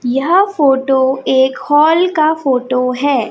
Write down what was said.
यह फोटो एक हॉल का फोटो है।